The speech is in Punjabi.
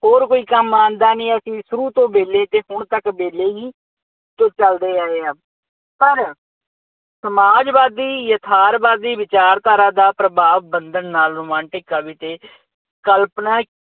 ਹੋਰ ਕੋਈ ਕੰਮ ਆਉਂਦਾ ਨਹੀਂ। ਅਸੀਂ ਸ਼ੁਰੂ ਤੋਂ ਵਿੇਹਲੇ ਅਤੇ ਹੁਣ ਤੱਕ ਵਿਹਲੇ ਹੀ ਅਤੇ ਚੱਲਦੇ ਆਏ ਹਾਂ। ਪਰ ਸਮਾਜਵਾਦੀ ਯਥਾਰਵਾਦੀ ਵਿਚਾਰਧਾਰਾ ਦਾ ਪ੍ਰਭਾਵ ਬੰਧਨ ਨਾਲ ਰੁਮਾਂਟਿਕ ਕਵੀ ਤੇ ਕਲਪਨਾ